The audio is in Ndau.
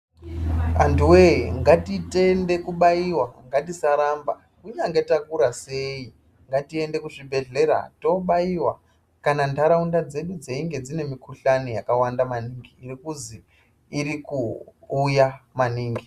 Antuwee, ngatitende kubaiwa. Ngatisaramba. Kunyange takura sei, ngatiende kuzvibhehlera tobaiwa kana ndaraunda dzedu dzeinge dzine mukuhlani yakawanda maningi irikuzi irikuuya maningi.